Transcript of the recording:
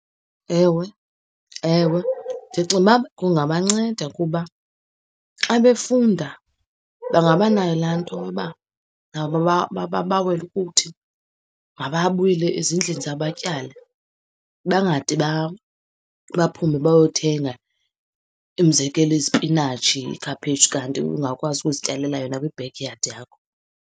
Ewe, ewe ndicinga uba kungabanceda kuba xa befunda bangabanayo laa nto yoba nabo babawele ukuthi mababuyele ezindlini zabo batyale. Bangade baphume bayothenga, umzekelo, izipinatshi, iikhaphetshu kanti ungakwazi ukuzityalela yona kwi-back yard yakho.